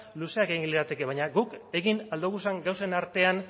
luzeak egin lirateke baina guk egin ahal dugun gauzen artean